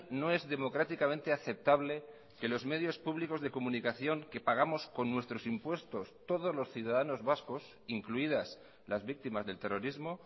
no es democráticamente aceptable que los medios públicos de comunicación que pagamos con nuestros impuestos todos los ciudadanos vascos incluidas las víctimas del terrorismo